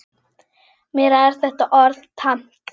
Mér er þetta orð tamt.